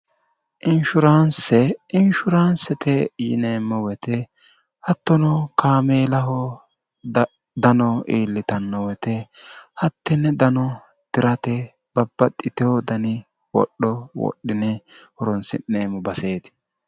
inshuraanse inshuraansete yineemmo woyite hattono kaameelaho dano iillitanno woyite hattenni dano tirate babbaxxiteho dani wodho wodhine horonsi'neemmo baseeti